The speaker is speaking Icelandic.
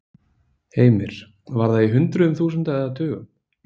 Heimir: Var það í hundruðum þúsunda eða tugum?